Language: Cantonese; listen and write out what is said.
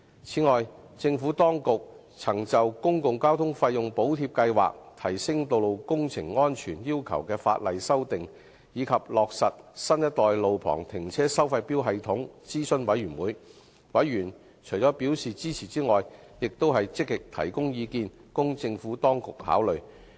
此外，政府當局曾就"公共交通費用補貼計劃"、"提升道路工程安全要求的法例修訂"，以及"落實新一代路旁停車收費錶系統"諮詢事務委員會，委員除表示支持外，亦積極提供意見，供政府當局考慮。